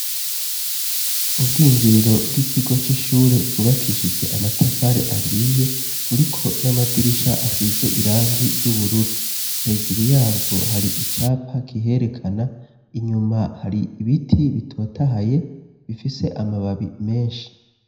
Ubwinjiriro bw'ikigo c'ishure bwubakishijwe amatafari ahiye buriko n'amadirisha asize irangi ry'ubururu hejuru yabwo hari icapa kiherekana inyuma hari ibiti bitotahaye bifise amababi menshi.